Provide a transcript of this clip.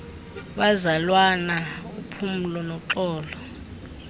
bazalwana uphumlo noxolo